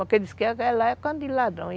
Porque dizem que lá é canto de ladrão.